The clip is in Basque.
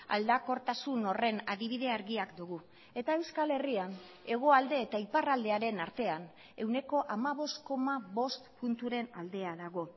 aldakortasun horren adibide argiak dugu eta euskal herrian hegoalde eta iparraldearen artean ehuneko hamabost koma bost punturen aldea dago